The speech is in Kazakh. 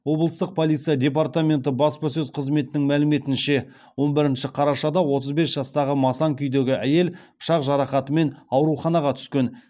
облыстық полиция департаменті баспасөз қызметінің мәліметінше он бірінші қарашада отыз бес жастағы масаң күйдегі әйел пышақ жарақатымен ауруханаға түскен